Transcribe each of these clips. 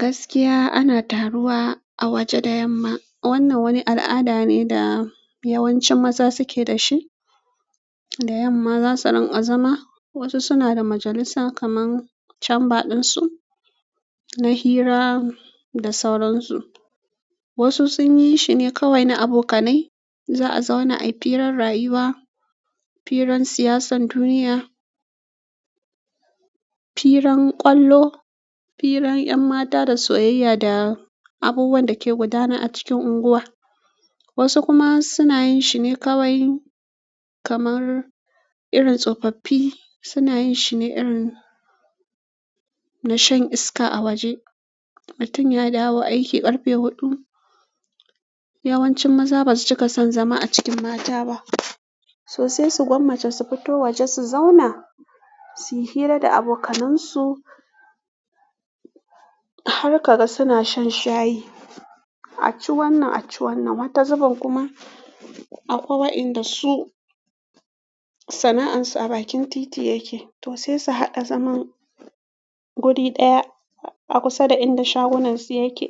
Gaskiya ana taruwa a waje da yamma. Wannan wani al'ada ne da yawancin maza suke da shi. Da yamma za su rinƙa zama. Wasu suna da majalisa kaman chamber ɗinsu na hira da sauransu. Wasu sun yi shine kawai na abokanai. Za a zauna a yi firar rayuwa, firan siyasan duniya, firan ƙwallo, firan 'yan mata da soyayya da abubuwan da ke gudana a cikin unguwa. Wasu kuma suna yin shine kawai kamar irin tsofaffi suna yin shine irin na shan iska a waje. Mutun ya dawo aiki ƙarfe huɗu. Yawancin maza ba su cika son zama a cikin mata ba. To sai su gwammace su fito waje su zauna, su yi hira da abokanansu. Har ka ga suna shan shayi. A ci wannan, a ci wannan. Wata zubin kuma akwai inda su sana'ansu a bakin titi yake. To sai su haɗa zaman guri ɗaya a kusa da inda shagunan su yake.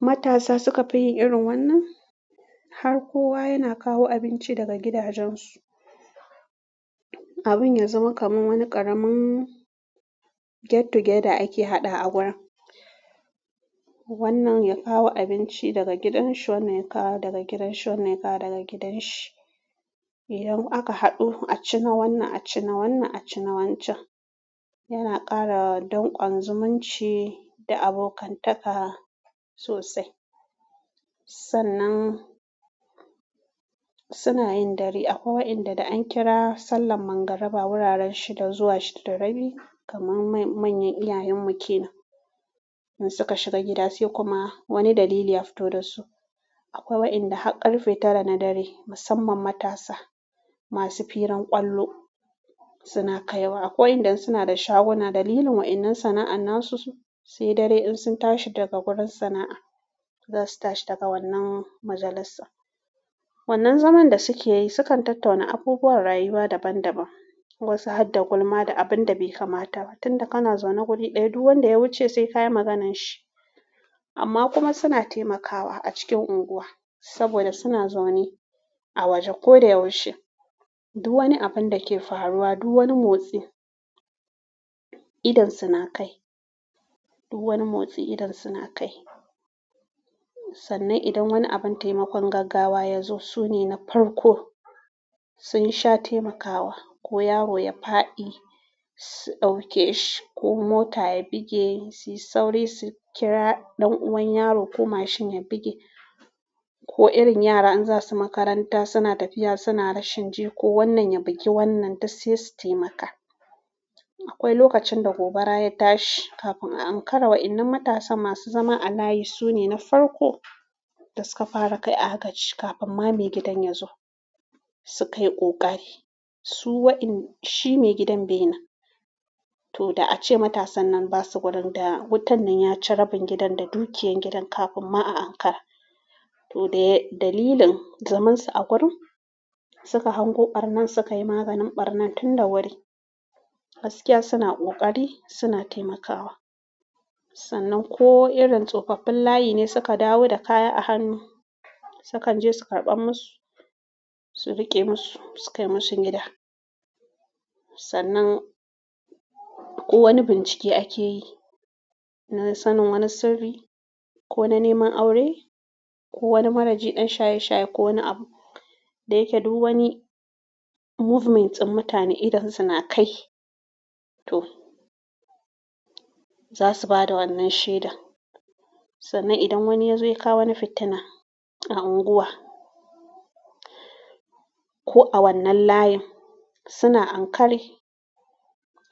Matasa suka fi yin irin wannan. Har kowa yana kawo abinci daga gidajensu. Abin ya zama kamar wani ƙaramin get together ake haɗa a gurin. Wannan ya kawo abinci daga gidan shi wanne kawo daga gidan shi wanne kawo daga gidan shi. Idan aka haɗu a ci na wannan, a ci na wannan, a ci na wancan. Yana ƙara don ƙwan zumunci da abokantaka sosai. Sannan suna yin dare akwai wa inda da an kira sallan mangaraba wuraren shida zuwa shida da rabi kamar manyan iyayen mukenan. In suka shiga gida sai kuma wani dalili ya fito da su. Akwai wa'inda har ƙarfe tara na dare, musamman matasa masu firan ƙwallo suna kaiwa. Akwai waenda suna da shaguna dalilin wa'innan sana'an na su siyi dare in sun tashi daga gurin sana'a, za su tashi daga wannan majalisa. Wannan zaman da suke yi sukan tattauna abubuwan rayuwa daban daban. Wasu har da gulma da abin da bai kamata ba. Tunda kana zaune guri ɗaya, duk wanda ya wuce sai ka yi maganar shi. Amma kuma suna taimakawa a cikin unguwa saboda suna zaune a waje kodayaushe. Duk wani abin da ke faruwa, duk wani motsi idan su na kai. Duk wani motsi idan suna kai. Sannan idan wani abin taimakon gaggawa ya zo, su ne na farko sun sha taimakawa. Ko yaro ya faɗi, su ɗauke shi. Ko mota ya buge, sai sauri su kira ɗan uwan yaro. Ko mashin ya buge, ko irin yara in zasu makaranta suna tafiya suna rashin ji, ko wannan ya buge wannan duk sai su taimaka. Akwai lokacin da gobara ya tashi kafin a ankara wa'innan matasan masu zama a layi su ne na farko da suka fara kai agaji kafin ma mai gidan ya zo. Su kai ƙoƙari. Su wa'innan shi mai gidan bainan. To da a ce matasan nan ba su gurin da wutan nan ya ci rabin gidan da dukiyar gidan kafin ma a ankara. To dai dalilin zamansu a gurin, suka hango ɓarnan suka yi maganin ɓarnan tun da wuri. Gaskiya suna ƙoƙari, suna taimakawa. Sannan ko irin tsofaffin layi ne suka dawo da kaya a hannu, sukan je su karɓar musu, su riƙe musu, su kai musu gida. Sannan ko wani bincike ake yi na sanin wani sirri ko na neman aure ko wani maraji ɗan shaye shaye ko wani abu da yake du wani movement ɗin mutane idan suna kai. To za su bada wannan shaida. Sannan idan wani ya zo ya kawo wani fitina a unguwa ko a wannan layin, suna ankare.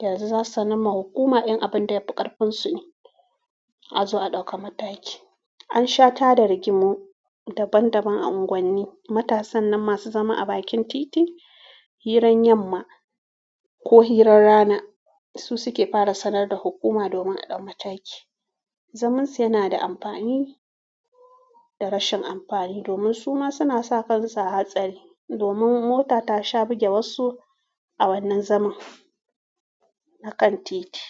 Yanzu za su sanar ma hukuma in abin da ya fi ƙarfinsu ne a zo a ɗauka mataki. An sha tada rigimu daban daban a unguwanni. Matasan nan masu zama a bakin titi, hirar yamma ko hirar rana su suke fara sanar da hukuma domin a ɗau mataki. Zamansu yana da amfani da rashin amfani domin su ma suna sa kansu a hatsari. Domin mota tasa bige wasu a wannan zaman a kan titi.